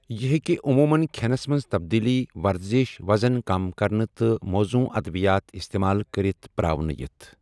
یہِ ہیكہِ عمومن كھینس منز تبدیلی ، ورزِش ، وزن كم كرنہٕ تہٕ موضوں ادوِیات استعمال كرِتھ پر٘اونہٕ یِتھ ۔